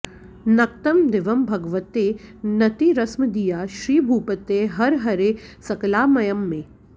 नक्तं दिवं भगवते नतिरस्मदीया श्रीभूपते हर हरे सकलामयं मे